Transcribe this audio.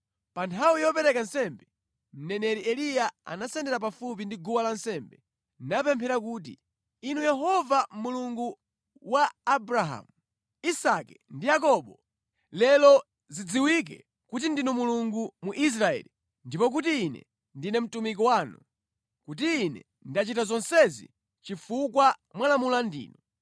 Pa nthawi yopereka nsembe, mneneri Eliya anasendera pafupi ndi guwa lansembe, napemphera kuti, “Inu Yehova, Mulungu wa Abrahamu, Isake ndi Yakobo, lero zidziwike kuti ndinu Mulungu mu Israeli ndipo kuti ine ndine mtumiki wanu, kuti ine ndachita zonsezi chifukwa mwalamula ndinu.